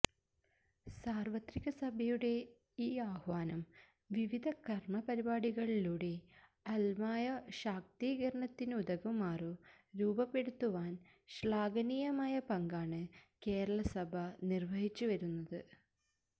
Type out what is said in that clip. സാര്വത്രികസഭയുടെ ഈ ആഹ്വാനം വിവിധ കര്മ്മപരിപാടികളിലൂടെ അല്മായ ശാക്തീകരണത്തിനുതകുമാറു രൂപപ്പെടുത്തുവാന് ശ്ലാഘനീയമായ പങ്കാണു കേരളസഭ നിര്വഹിച്ചുവരുന്നത്